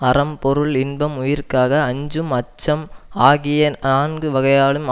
அறம் பொருள் இன்பம் உயிர்காக அஞ்சும் அச்சம் ஆகிய நான்கு வகையாலும்